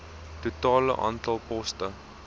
totale aantal poste